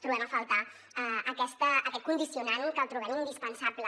trobem a faltar aquest condicionant que el trobem indispensable